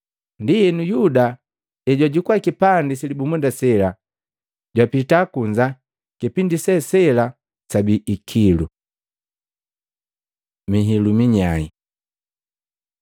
Ndienu, Yuda hejwajukua kipandi silibumunda sela, jwapita kunza. Kipindi se sela sabii ikilu. Mihilu minyai